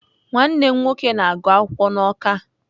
Nwanne m nwoke na-agu akwukwo na Awka